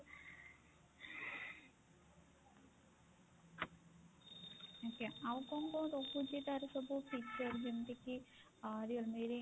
ଆଜ୍ଞା ଆଉ କଣ କଣ ରହୁଛି ତାର ସବୁ feature ଯେମିତି କି ଆ realme ରେ?